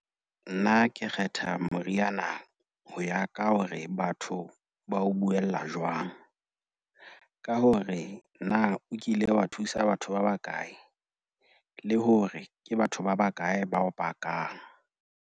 Nna ke kgetha moriana ho ya ka hore batho ba o buella jwang. Ka hore na o kile wa thusa batho ba bakae le hore ke batho ba bakae ba o pakang.